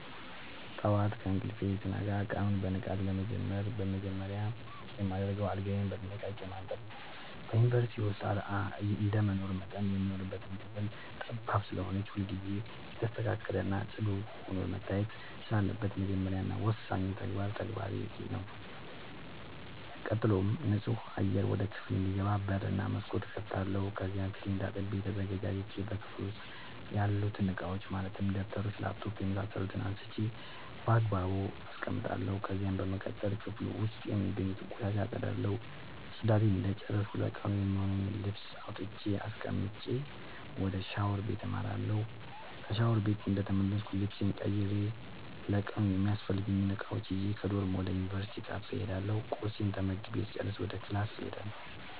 ጠዋት ከእንቅልፌ ስነቃ ቀኑን በንቃት ለመጀመር መጀመሪያ የማደርገው አልጋዬን በጥንቃቄ ማንጠፍ ነዉ። በዩንቨርስቲ ዉስጥ እንደመኖሬ መጠን የምንኖርባት ክፍል ጠባብ ስለሆነች ሁልጊዜ የተስተካከለ እና ፅዱ ሆና መታየት ስላለባት የመጀመሪያ እና ወሳኙ ተግባሬ ተግባሬ ነዉ። ቀጥሎም ንፁህ አየር ወደ ክፍሉ እንዲገባ በር እና መስኮት እከፍታለሁ ከዚያም ፊቴን ታጥቤ ተዘጋጅቼ በክፍሉ ዉስጥ ያሉትን እቃዎች ማለትም ደብተሮች: ላፕቶፕ የምሳሰሉትን አንስቼ ባግባቡ አስቀምጣለሁ። ከዚያም በመቀጠል ክፍሉ ዉስጥ የሚገኙትን ቆሻሻ አፀዳለሁ ፅዳቴን እንደጨረስኩ ለቀኑ የሚሆነኝን ልብስ አውጥቼ አስቀምጬ ወደ ሻወር ቤት አመራለሁ። ከሻወር ቤት እንደተመለስኩ ልብሴን ቀይሬ ለቀኑ የሚያስፈልጉኝን እቃዎች ይዤ ከዶርም ወደ ዩንቨርስቲው ካፌ እሄዳለሁ ቁርሴን ተመግቤ ስጨርስ ወደ ክላስ እሄዳለሁ።